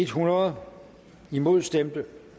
hundrede imod stemte